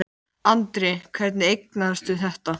Kristinn Hrafnsson: Hvert á markmiðið að vera?